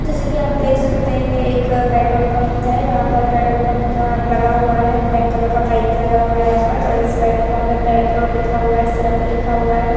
जैसे कि आप देख सकते हैं ये एक पेट्रोल पंप है यहां पर पेट्रोल पंप का लगा हुआ है ब्लैक कलर का पाइप भी लगा हुआ है यहां पर और इस पेट्रोल पंप में पेट्रोल लिखा हुआ है इस तरह भी लिखा हुआ है।